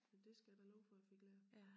Men det skal jeg da love for jeg fik lært